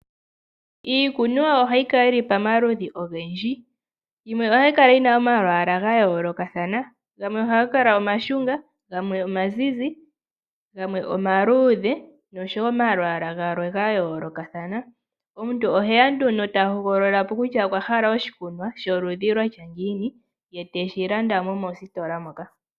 Iikunwa ohayi kala yili pamaludhi ogendji, yimwe ohayi kala yi na omalwaala ga yoolokathana, gamwe ohaga kala omashunga, gamwe omazizi, gamwe omaluudhe noshowo omalwaala galwe ga yoolokathana. Omuntu oheya nduno ta hogolola po kutya okwa hala oshikunwa sholudhi lwa tya ngiini ye teshi landa mo mositola moka.